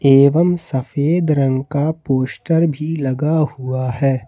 एवं सफेद रंग का पोस्टर भी लगा हुआ है।